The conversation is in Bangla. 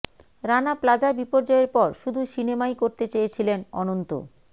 রানা প্লাজা বিপর্যয়ের পর শুধু সিনেমাই করতে চেয়েছিলেন অনন্ত